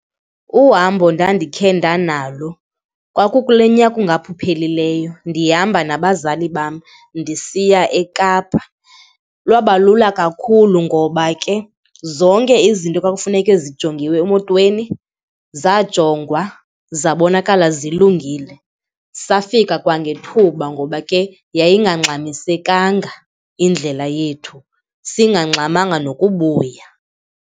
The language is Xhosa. Uhambo ndandikhe ndanalo kwakulonyaka ungaphuphelileyo ndihamba nabazali bam ndisiya eKapa. Lwaba lula kakhulu ngoba ke zonke izinto kwakufuneke zijongiwe emotweni zajongwa zabonakala zilungile. Safika kwangethuba ngoba ke yayingangxamisekanga indlela yethu, singangxamanga nokubuya.